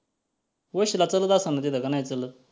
वशिला जाताना तिथं का नाही चालत?